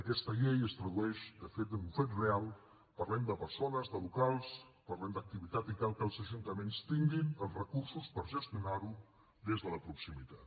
aquesta llei es tradueix de fet en un fet real parlem de persones de locals parlem d’activitat i cal que els ajuntaments tinguin els recursos per gestionar ho des de la proximitat